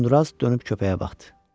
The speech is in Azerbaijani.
Uzundıraz dönüb köpəyə baxdı.